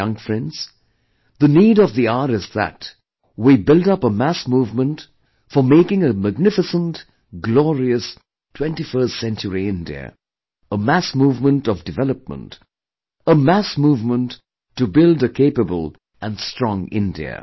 My young friends, the need of the hour is that we build up a mass movement for making a magnificent glorious 21st century India; a mass movement of development, a mass movement to build a capable and strong India